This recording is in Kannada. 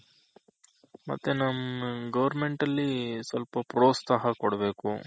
ಮತ್ತೆ ನಮ್ಮ್ Government ಅಲ್ಲಿ ಸ್ವಲ್ಪ ಪ್ರೋತ್ತ್ಸಾಹ ಕೊಡ್ಬೇಕು